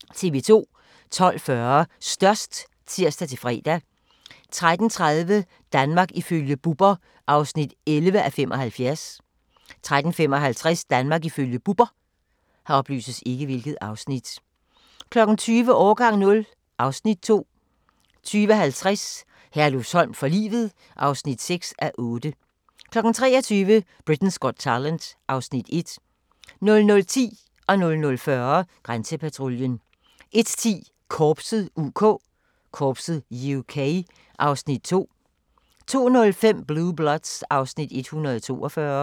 12:40: Størst (tir-fre) 13:30: Danmark ifølge Bubber (11:75) 13:55: Danmark ifølge Bubber 20:00: Årgang 0 (Afs. 2) 20:50: Herlufsholm for livet (6:8) 23:00: Britain's Got Talent (Afs. 1) 00:10: Grænsepatruljen 00:40: Grænsepatruljen 01:10: Korpset (UK) (Afs. 2) 02:05: Blue Bloods (Afs. 142)